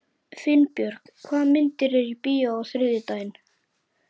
Finnbjörg, hvaða myndir eru í bíó á þriðjudaginn?